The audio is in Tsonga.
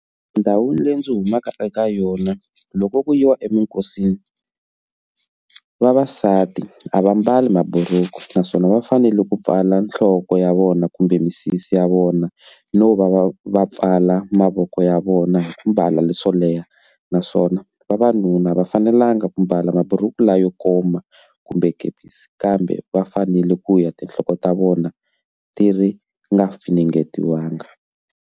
Ndhawini leyi ndzi humaka eka yona loko ku yiwa eminkosini vavasati a va mbali mabhuruku naswona va fanele ku pfala nhloko ya vona kumbe misisi ya vona no va va va pfala mavoko ya vona hi ku mbala leswo leha naswona vavanuna va fanelanga ku mbala mabhuruku lawa yo koma kumbe gaubus kambe va fanele ku ya tinhloko ta vona ti ri nga finingetiwa bangi.